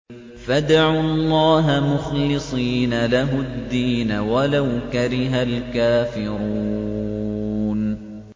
فَادْعُوا اللَّهَ مُخْلِصِينَ لَهُ الدِّينَ وَلَوْ كَرِهَ الْكَافِرُونَ